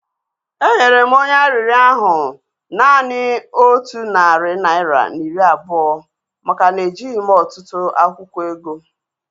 Enyere m onye arịrịọ ahu naanị otu narị naira na iri abụọ maka na ejighị m ọtụtụ akwụkwọ ego